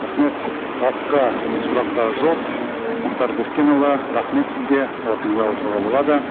рахмет басқа сұрақтар жоқ мұхтар бескенұлы рахмет сізге орныңызға отыруға болады